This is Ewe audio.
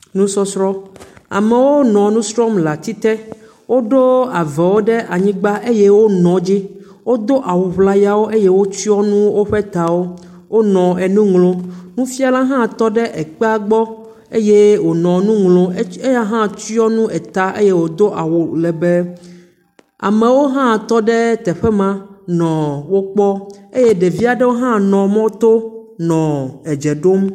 Nusɔsrɔ̃, amewo nɔ nu srɔ̃m le ati te, woɖo avɔwo ɖe anyigba eye wonɔ dzi, wodo awu ŋlayawo eye wotsyɔ nu woƒe tawo, wonɔ enu ŋlɔm, nufiala tɔ ɖe ekpea gbɔ eye wònɔ enu ŋlɔm, eya hã tsyɔ nu eta eye wòdo awu lebee, amewo hã tɔ ɖe teƒe ma nɔ wo kpɔm eye ɖevi aɖewo hã nɔ mɔto nɔ dze ɖom.